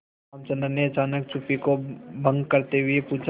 रामचंद्र ने अचानक चुप्पी को भंग करते हुए पूछा